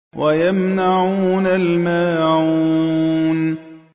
وَيَمْنَعُونَ الْمَاعُونَ